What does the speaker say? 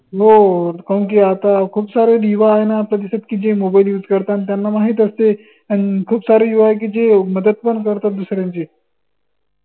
हो कौन की आता खूप सारे युवा आहेत ना आपल्या आयुष्यात की जे mobile use करतात त्यांना माहित असते कां खूप सारे युवा आहे की, जे मदत पन करतात दुसऱ्यांची